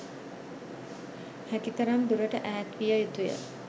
හැකි තරම් දුරට ඈත් විය යුතුය